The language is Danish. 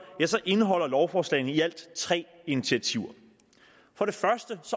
indeholder lovforslagene i alt tre initiativer for det første